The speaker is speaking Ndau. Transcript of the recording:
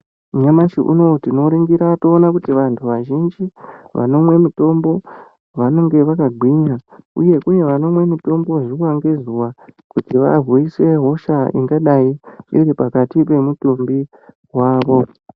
Nyamashi unowu tinoringira toona kuti vantu vazhinji vanomwe mitombo, vanenge vakagwinya uye vanomwe mitombo zuwa ngezuwa kuti varwise hosha ingadai iri pakati pemutumbi wavo.